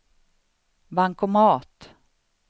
bankomat